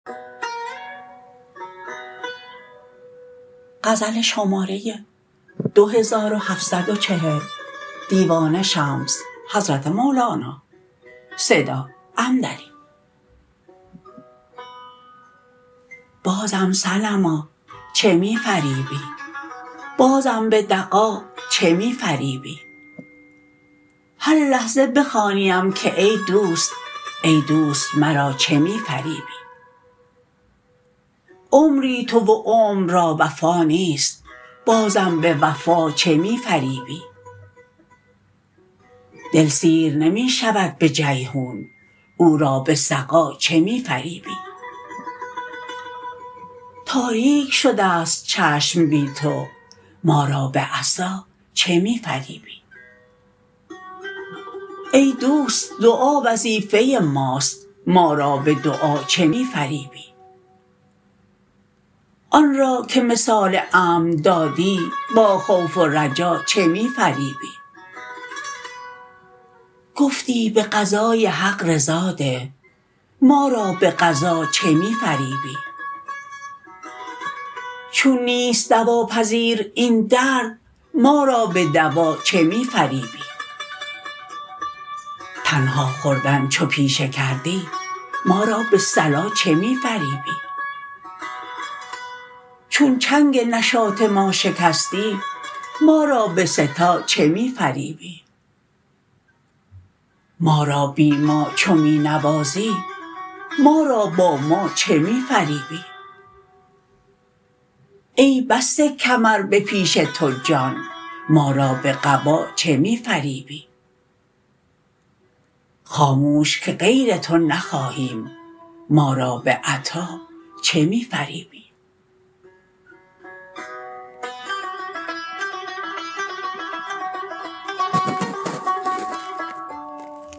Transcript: بازم صنما چه می فریبی بازم به دغا چه می فریبی هر لحظه بخوانیم که ای دوست ای دوست مرا چه می فریبی عمری تو و عمر را وفا نیست بازم به وفا چه می فریبی دل سیر نمی شود به جیحون او را به سقا چه می فریبی تاریک شده ست چشم بی تو ما را به عصا چه می فریبی ای دوست دعا وظیفه ماست ما را به دعا چه می فریبی آن را که مثال امن دادی با خوف و رجا چه می فریبی گفتی به قضای حق رضا ده ما را به قضا چه می فریبی چون نیست دواپذیر این درد ما را به دوا چه می فریبی تنها خوردن چو پیشه کردی ما را به صلا چه می فریبی چون چنگ نشاط ما شکستی ما را به سه تا چه می فریبی ما را بی ما چو می نوازی ما را با ما چه می فریبی ای بسته کمر به پیش تو جان ما را به قبا چه می فریبی خاموش که غیر تو نخواهیم ما را به عطا چه می فریبی